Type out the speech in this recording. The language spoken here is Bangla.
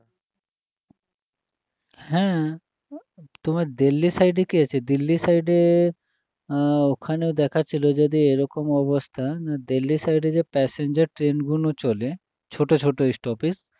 হ্যাঁ তোমার দিল্লী side এ কী আচ্ছে দিল্লী side এ আহ ওখানে দেখাচ্ছিল যদি এরকম অবস্থা না দিল্লী side এ যে passenger train গুলো চলে ছোটো ছোটো stoppage